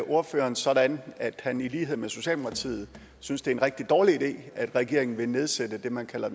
ordføreren sådan at han i lighed med socialdemokratiet synes det er en rigtig dårlig idé at regeringen vil nedsætte det man kalder